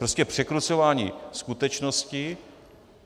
Prostě překrucování skutečnosti.